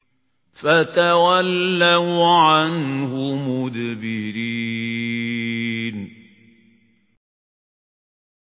فَتَوَلَّوْا عَنْهُ مُدْبِرِينَ